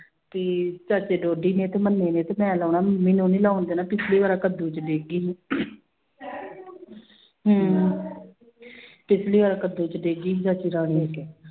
ਕੀ ਚਾਚੇ ਤੇ ਮੰਨੇ ਨੇ ਤੇ ਮੈਂ ਲਾਉਣਾ, ਮੈਨੂੰ ਨੀ ਲਾਉਣ ਦੇਣਾ, ਪਿੱਛਲੀ ਵਾਰ ਆ ਕੱਦੂ ਚ ਡਿੱਗ ਗਈ ਸੀ ਹਮ ਪਿੱਛਲੀ ਵਾਰ ਕੱਦੂ ਚ ਡਿੱਗ ਗਈ ਸੀ